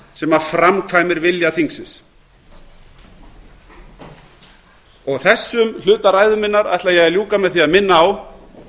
sem framkvæmir vilja þingsins þessum hluta ræðu minnar ætla ég að ljúka með því að minna á